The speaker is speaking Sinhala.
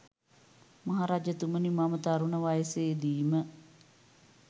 මහ රජතුමනි, මම තරුණ වයසේ දීම